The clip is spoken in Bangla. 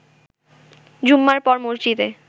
জুম্মার পর মসজিদে